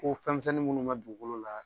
Ko fɛnmisɛn minnu bɛ dugukolo la.